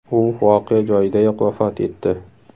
U voqea joyidayoq vafot etdi.